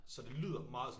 Så det lyder meget sådan